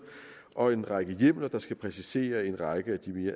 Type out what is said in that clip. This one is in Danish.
og en række hjemler der skal præcisere en række